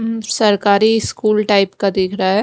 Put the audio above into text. ऊं सरकारी school type का दिख रहा है।